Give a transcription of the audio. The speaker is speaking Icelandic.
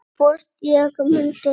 Hvort ég muni geta þetta.